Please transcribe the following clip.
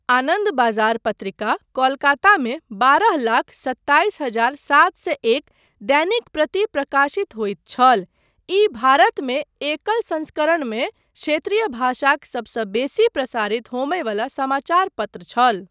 आनन्द बाजार पत्रिका कोलकातामे बारह लाख सत्ताईस हजार सात सए एक दैनिक प्रति प्रकाशित होइत छल, ई भारतमे एकल संस्करणमे क्षेत्रीय भाषाक सबसँ बेसी प्रसारित होमय वला समाचार पत्र छल।